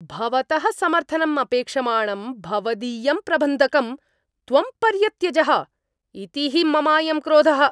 भवतः समर्थनम् अपेक्षमाणं भवदीयं प्रबन्धकं त्वं पर्यत्यजः इति हि ममायं क्रोधः।